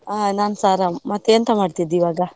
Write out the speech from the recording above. ಹಾ ನಾನ್ಸಾ ಆರಾಮ್, ಮತ್ತೆ ಎಂಥ ಮಾಡ್ತಿದ್ದಿ ಈವಾಗ?